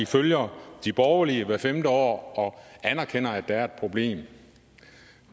følger de borgerlige hvert femte år og anerkender at der er et problem